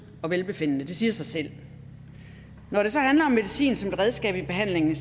og velbefindende det siger sig selv når det så handler om medicin som et redskab i behandlingen